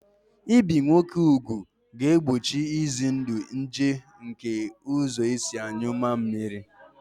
Ibi ụmụ nwoke ugwu ga-egbochi ize ndụ nje nke ụzọ esi anyụ mammiri